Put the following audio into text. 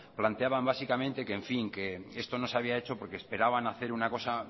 planteaban básicamente que en fin esto no se había hecho porque esperaban hacer una cosa